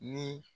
Ni